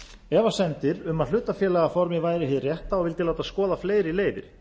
efasemdir um að hlutafélagaformið væri hið rétta og vildi láta skoða fleiri leiðir